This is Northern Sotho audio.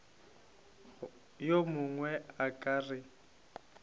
yo mongwe a ka re